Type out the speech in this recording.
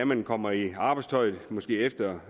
man kommer i arbejdstøjet igen måske efter